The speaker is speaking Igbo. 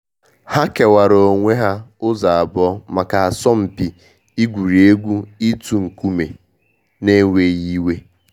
Ha kewaara onwe ha ụzọ abụọ maka asọmpi igwuri egwu ịtụ nkume n’enweghị iwe.